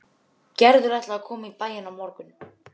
Gerður ætlaði að koma í bæinn á morgun.